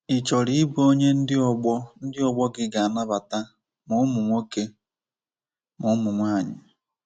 Ị̀ chọrọ ịbụ onye ndị ọgbọ ndị ọgbọ gị ga-anabata, ma ụmụ nwoke ma ụmụ nwanyị.”